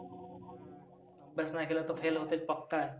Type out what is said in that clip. अभ्यास नाही केलं तर fail होतेच पक्का.